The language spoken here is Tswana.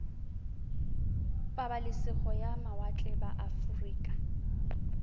pabalesego ya mawatle ba aforika